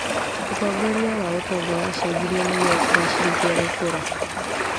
ũtongoria wa ũtonga wacenjirio nĩguo kũgacĩrithia gũkũra.